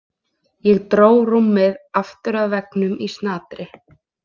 Ég dró rúmið aftur að veggnum í snatri.